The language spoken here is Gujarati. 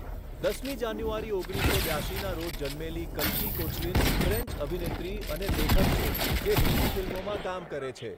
દસમી જાન્યુઆરી ઓગણીસસો બ્યાશીના રોજ જન્મેલી કલ્કી કોચલિન ફ્રેન્ચ અભિનેત્રી અને લેખક છે જે હિન્દી ફિલ્મોમાં કામ કરે છે.